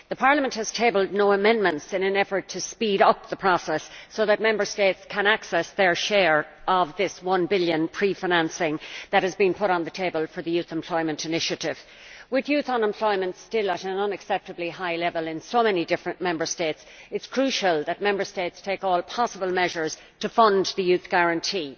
Parliament has tabled no amendments in an effort to speed up the process so that Member States can access their share of these one billion euros in prefinancing that has been put on the table for the Youth Employment initiative. With youth unemployment still at an unacceptably high level in so many different Member States, it is crucial that Member States take all possible measures to fund the Youth Guarantee.